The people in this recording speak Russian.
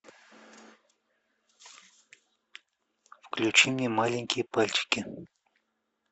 включи мне маленькие пальчики